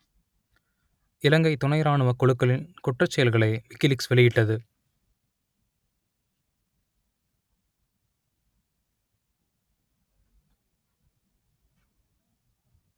இலங்கைத் துணை இராணுவக் குழுக்களின் குற்றச்செயல்களை விக்கிலீக்ஸ் வெளியிட்டது